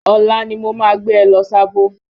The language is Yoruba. Ọ̀la ni mo ma gbé ẹ lọ Sábó.